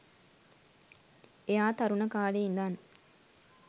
එයා තරුණ කාලේ ඉඳන්